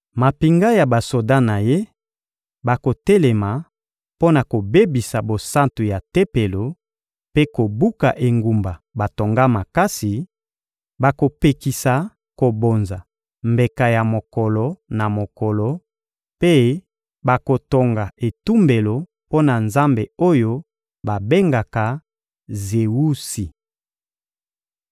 Mampinga ya basoda na ye bakotelema mpo na kobebisa bosantu ya Tempelo mpe kobuka engumba batonga makasi; bakopekisa kobonza mbeka ya mokolo na mokolo mpe bakotonga etumbelo mpo na nzambe oyo babengaka Zewusi.